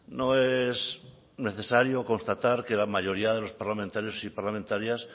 no es necesario constatar que la mayoría de los parlamentarios y parlamentarias